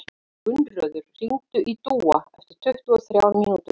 Gunnröður, hringdu í Dúa eftir tuttugu og þrjár mínútur.